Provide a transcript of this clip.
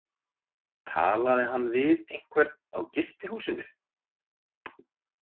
Talaði hann við einhvern á gistihúsinu?